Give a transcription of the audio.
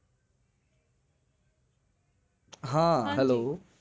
હા hello